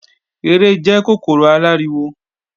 Ere jẹ́ kòkòrò aláriwo